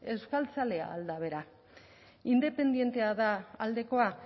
euskaltzalea al da bera independientea da aldekoa